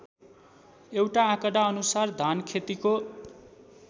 एउटा आँकडाअनुसार धानखेतीको